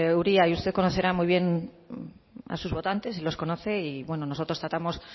uria usted conocerá muy bien a sus votantes y los conoce y nosotros tratamos